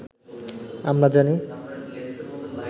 আমরা জানি